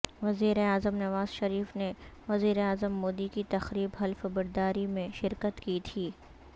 وزیراعظم نواز شریف نے وزیراعظم مودی کی تقریب حلف برداری میں شرکت کی تھی